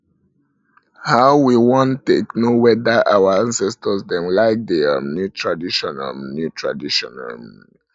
how we wan take know weda our acestors dem like di um new tradition um new tradition um